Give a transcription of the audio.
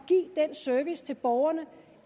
service til borgerne